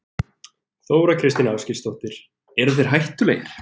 Þóra Kristín Ásgeirsdóttir: Eru þeir hættulegir?